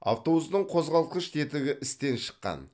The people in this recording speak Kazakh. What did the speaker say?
автобустың қозғалтқыш тетігі істен шыққан